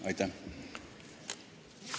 Aitäh!